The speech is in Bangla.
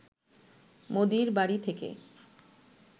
মোদির বাড়ি থেকে